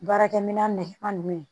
Baarakɛminɛn nɛgɛma nunnu